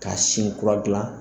K'a sin kura gilan